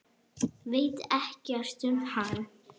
Veit ekkert um hana.